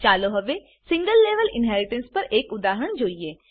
ચાલો હવે single level inheritance પર એક ઉદાહરણ જોઈએ